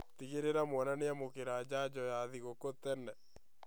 Tigĩrĩra mwana nĩamũkĩra njanjo ya gĩthũku tene